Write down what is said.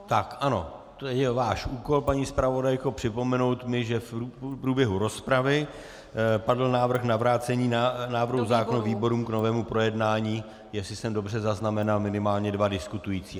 Tak, ano, to je váš úkol, paní zpravodajko, připomenout mi, že v průběhu rozpravy padl návrh na vrácení návrhu zákona výborům k novému projednání, jestli jsem dobře zaznamenal minimálně dva diskutující.